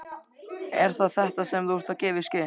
Er það þetta, sem þú ert að gefa í skyn?